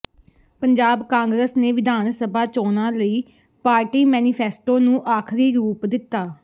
ਪੰਜਾਬ ਕਾਂਗਰਸ ਨੇ ਵਿਧਾਨ ਸਭਾ ਚੋਣਾਂ ਲਈ ਪਾਰਟੀ ਮੈਨੀਫੈਸਟੋ ਨੂੰ ਆਖਿਰੀ ਰੂਪ ਦਿੱਤਾ